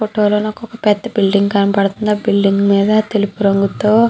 ఈ ఫోటో లో నాకొక పెద్ద బిల్డింగ్ కనబడుతుంది ఆ బిల్డింగ్ తెలుపు రంగుతో --